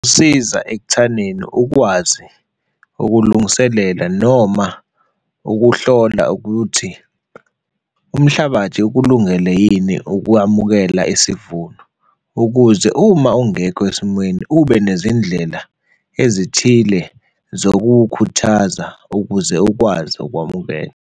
Isiza ekuthaneni ukwazi ukulungiselela noma ukuhlola ukuthi umhlabathi ukulungele yini ukukwamukela isivuno ukuze uma ungekho esimweni ube nezindlela ezithile zokuwukhuthaza, ukuze ukwazi ukwamukela.